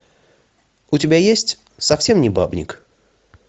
у тебя есть совсем не бабник